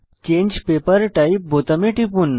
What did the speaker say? change paper type বোতামে টিপুন